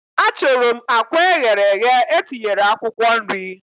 Achorom akwa eghere eghe etinyere akwukwo nri